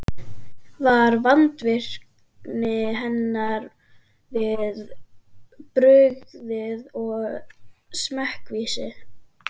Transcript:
Var vandvirkni hennar við brugðið og smekkvísi.